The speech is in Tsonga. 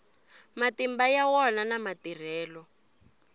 matimba ya wona na matirhelo